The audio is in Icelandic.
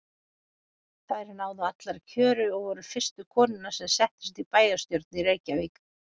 Þær náðu allar kjöri og voru fyrstu konurnar sem settust í bæjarstjórn í Reykjavík.